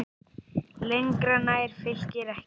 Lengra nær Fylkir ekki.